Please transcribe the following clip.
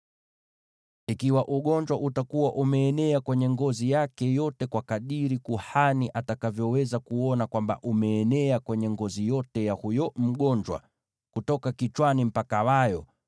“Ikiwa ugonjwa utakuwa umeenea kwenye ngozi yake yote kwa kadiri kuhani atakavyoweza kuona, kwamba umeenea kwenye ngozi yote ya huyo mgonjwa kutoka kichwani mpaka wayo,